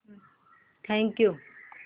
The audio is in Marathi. thank you